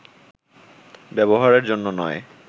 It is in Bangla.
ব্যবহারের জন্য নয়